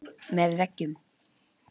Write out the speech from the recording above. Með veggjum